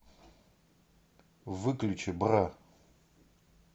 выключи бра